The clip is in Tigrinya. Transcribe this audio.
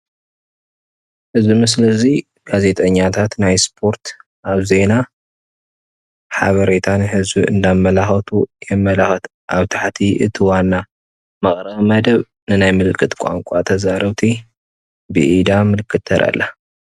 እዚ ምስሊ እዚ ጋዜጠኛታት ናይ ስፖርት ኣብ ዜና ሓበሬታ ንህዝቢ እንዳመላኸቱ የመላኽት። ኣብ ታሕቲ እቲ ዋና መቕረቢ መደብ ንናይ ምልክት ቋንቋ ተዛረብቲ ብኢዳ ምልክት ተርኢ ኣላ።